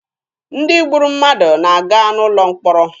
Ndị gburu mmadụ na-aga n'ụlọ mkpọrọ.